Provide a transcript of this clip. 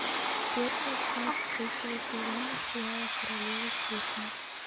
первая часть третьего сезона сериала королевы крика